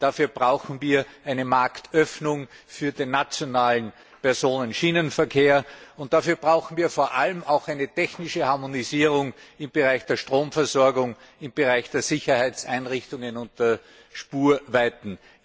Dafür brauchen wir eine Marktöffnung für den nationalen Personenschienenverkehr, und dafür brauchen wir vor allem auch eine technische Harmonisierung im Bereich der Stromversorgung, der Sicherheitseinrichtungen und der Spurweiten.